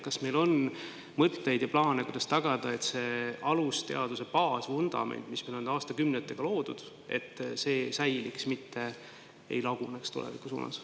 Kas meil on mõtteid ja plaane, kuidas tagada see, et alusteaduste baasvundament, mis meil on aastakümnetega loodud, tulevikus säiliks, mitte ei laguneks?